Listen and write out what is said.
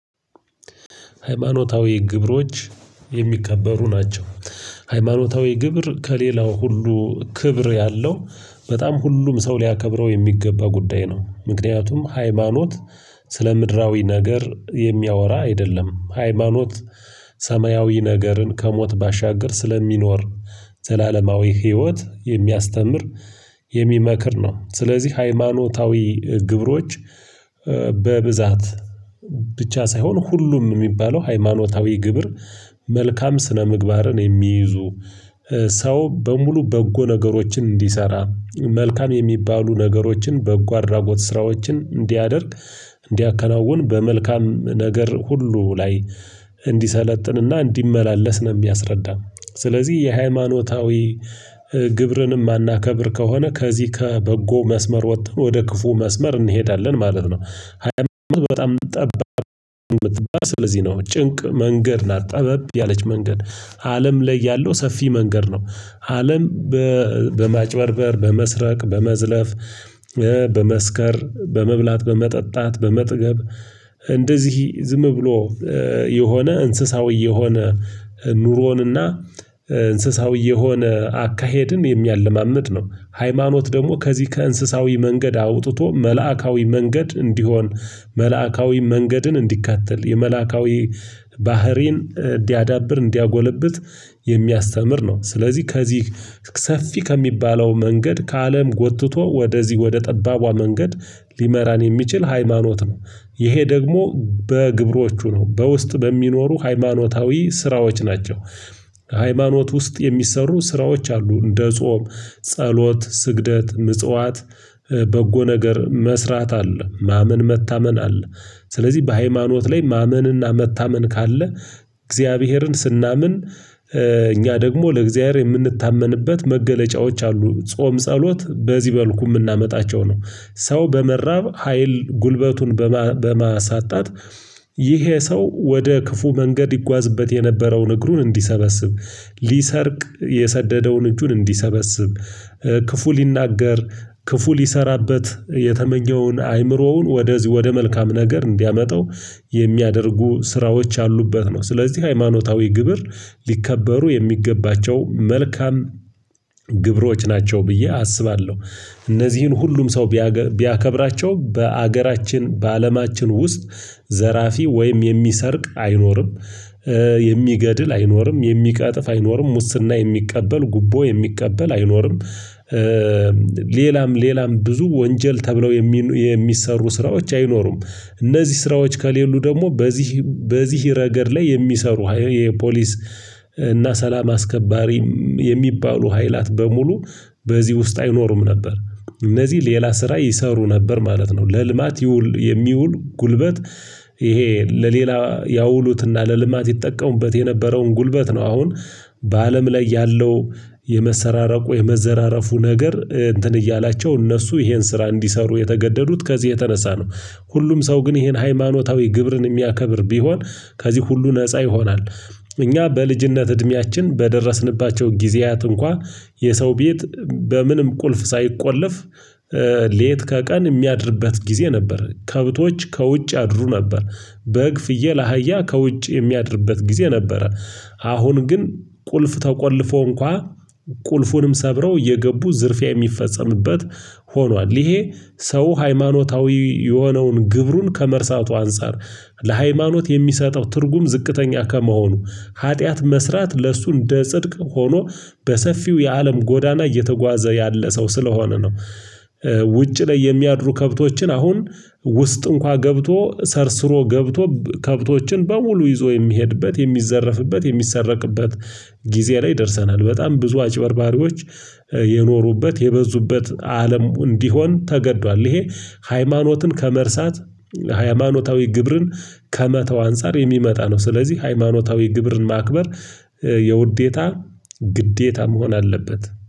ሃይማኖታዊ ግብሮች የሚከበሩ ናቸው። ሃይማኖታዊ ግብር ከሌላው ሁሉ ክብር ያለው በጣም ሁሉም ሰው ሊያከብረው የሚገባ ጉዳይ ነው። ምክንያቱም ሃይማኖት ስለ ምድራዊ ነገር የሚያወራ አይደለም። ሃይማኖት ሰማያዊ ነገርን ከሞት ባሻግር ስለሚኖር ዘላለማዊ ህይወት የሚያስተምር የሚመክር ነው። ስለዚህ ሃይማኖታዊ ግብሮች በብዛት ብቻ ሳይሆን ሁሉም የሚባለው ሃይማኖታዊ ግብር መልካም ስነምግባርን የሚይዙ ሰው በሙሉ በጎ ነገሮችን እንዲሰራ መልካም የሚባሉ ነገሮችን በጎ አድራጎት ስራዎችን እንዲያደርግ እንዲያከናውን በመልካም ነገር ሁሉ ላይ እንዲሰለጥንና እንዲመላለስ ነው። የሚያስረዳን ስለዚህ የሃይማኖታዊ ግብርንም አናከብር ከሆነ ከዚህ ከበጎ መስመር ወጥተን ወደ ክፉ መስመር እንሄዳለን ማለት ነው። ሃይማኖት በጣም እምትባል ስለዚህ ነው ጭንቅ መንገድ ናት ጠበብ ያለች መንገድ አለም ላይ ያለው ሰፊ መንገድ ነው። አለም በማጭበርበር በመስረቅ በመዝለፍ በመስከር በመብላት በመጠጣት በመጠገብ እንደዚህ ዝም ብሎ የሆነ እንስሳዊ የሆነ ኑሮንና እንስሳዊ የሆነ አካሄድን የሚያለማምድ ነው። ሃይማኖት ደግሞ ከዚህ ከእንስሳዊ መንገድ አውጥቶ መላእካዊ መንገድ እንዲሆን መላእካዊ መንገድን እንዲከተል የመላእካዊ ባህሪን እንዲያዳብር እንዲያጎለብት የሚያስተምር ነው። ስለዚህ ከዚህ ሰፊ ከሚባለው መንገድ ከአለም ጎትቶ ወደዚህ ወደ ጠባቧ መንገድ ሊመራን የሚችል ሃይማኖት ነው። ይሄ ደግሞ በግብሮቹ ነው በውስጥ በሚኖሩ ሃይማኖታዊ ስራዎች ናቸው። ሃይማኖት ውስጥ የሚሰሩ ስራዎች አሉ እንደ ጾም ጸሎት ስግደት ምጽዋት በጎ ነገር መስራት አለ ማመን መታመን አለ። ስለዚህ በሃይማኖት ላይ ማመንና መታመን ካለ እግዚአብሔርን ስናምን እኛ ደግሞ ለእግዚአብሔር የምንታመንበት መገለጫዎች አሉ ጾም ጸሎት በዚህ በልኩ የምናመጣቸው ነው። ሰው በመራብ ሀይል ጉልበቱን በማሳጣት ይሄ ሰው ወደ ክፉ መንገድ ይጓዝበት የነበረውን እግሩን እንዲሰበስብ ሊሰርቅ የሰደደውን እጁን እንዲሰበስብ ክፉ ሊናገር ክፉ ሊሰራበት የተመኘውን አይምሮውን ወደዚህ ወደ መልካም ነገር እንዲያመጣው የሚያደርጉ ስራዎች ያአሉበት ነው። ስለዚህ ሃይማኖታዊ ግብር ሊከበሩ የሚገባቸው መልካም ግብሮች ናቸው ብዬ አስባለሁ። እነዚህን ሁሉም ሰው ቢያከብራቸውም በሀገራችን በአለማችን ውስጥ ዘራፊ ወይም የሚሰርቅ አይኖርም። የሚገድል አይኖርም የሚቀጥፍ አይኖርም ሙስና የሚቀበል ጉቦ የሚቀበል አይኖርም። ሌላም ሌላም ብዙ ወንጀል ተብለው የሚሰሩ ስራዎች አይኖሩም። እነዚህ ስራዎች ከሌሉ ደግሞ በዚህ በዚህ ረገድ ላይ የሚሰሩ የፖሊስ እና ሰላም አስከባሪም የሚባሉ ኃይላት በሙሉ በዚህ ውስጥ አይኖርም ነበር እነዚህ ሌላ ስራ ይሰሩ ነበር ማለት ነው። ለልማት ይውል የሚውል ጉልበት ይሄ ለሌላ ያውሉትና ለልማት ይጠቀሙበት የነበረውን ጉልበት ነው። አሁን በአለም ላይ ያለው የመሰራረቁ የመዘራረፉ ነገር እንትን እያላቸው እነሱ ይሄን ስራ እንዲሰሩ የተገደዱት ከዚህ የተነሳ ነው። ሁሉም ሰው ግን ይሄን ሃይማኖታዊ ግብርን እሚያከብር ቢሆን ከዚህ ሁሉ ነፃ ይሆናል። እኛ በልጅነት እድሜያችን በደረስንባቸው ጊዜያት እንኳን የሰው ቤት በምንም ቁልፍ ሳይቆለፍ ሌት ከቀን የሚያድርበት ጊዜ ነበር ከብቶች ከውጭ አድሩ ነበር። በግ ፍየል አህያ ከውጭ የሚያድርበት ጊዜ ነበረ። አሁን ግን ቁልፍ ተቆልፎ እንኳን ቁልፉንም ሰብረው እየገቡ ዝርፊያ የሚፈጸምበት ሆኗል። ይሄ ሰው ሃይማኖታዊ የሆነውን ግብሩን ከመርሳቱ አንፃር ለሃይማኖት የሚሰጠው ትርጉም ዝቅተኛ ከመሆኑ ኃጢአት መስራት ለእሱ እንደ ጽድቅ ሆኖ በሰፊው የአለም ጎዳና እየተጓዘ ያለ ሰው ስለሆነ ነው። ውጭ ላይ የሚያድሩ ከብቶችን አሁን ውስጥ እንኳን ገብቶ ሰርስሮ ገብቶ ከብቶችን በውሉ ይዞ የሚሄድበት የሚዘረፍበት የሚሰረቅበት ጊዜ ላይ ደርሰናል። በጣም ብዙ አጭበርባሪዎች የኖሩበት የበዙበት አለም እንዲሆን ተገዷል። ይሄ ሃይማኖትን ከመርሳት ሃይማኖታዊ ግብርን ከመተው አንፃር የሚመጣ ነው። ስለዚህ ሃይማኖታዊ ግብርን ማክበር የውዴታ ግዴታ መሆን አለበት